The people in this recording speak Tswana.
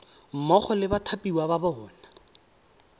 mmogo le bathapiwa ba bona